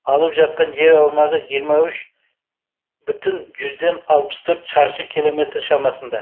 алып жатқан жер аумағы жиырма үш бүтін жүзден алпыс төрт шаршы километр шамасында